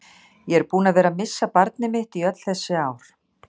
Ég er búinn að vera missa barnið mitt í öll þessi ár.